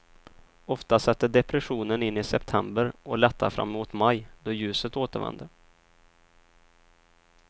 Ofta sätter depressionen in i september och lättar framemot maj, då ljuset återvänder.